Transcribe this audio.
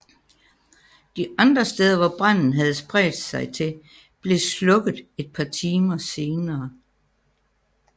De andre steder hvor branden havde spredt sig til blev slukket et par timer senere